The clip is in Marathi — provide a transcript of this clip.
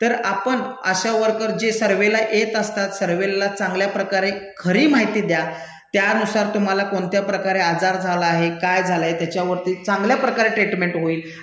तर आपण आशा वर्कर जे सर्व्हेला येत असतात, सर्व्हेला चांगल्याप्रकारे खरी माहिती दया, त्यानुसार तुम्हाला कोणत्याप्रकारे आजार झाला आहे? काय झालाय? त्याच्यावरती चांगल्याप्रकारे ट्रीटमेंट होईल